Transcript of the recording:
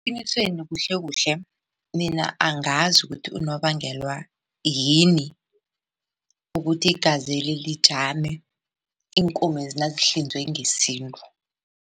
Eqinisweni kuhlekuhle mina angazi ukuthi unobangelwa yini ukuthi igazeli lijame iinkomezi nazihlinzwe ngesintu.